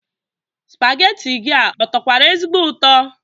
Spageti gị a ọ tọkwara ezigbo ụtọ?